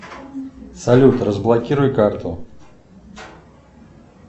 салют разблокируй карту